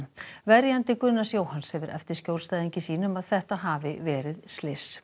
verjandi Gunnars Jóhanns hefur eftir skjólstæðingi sínum að þetta hafi verið slys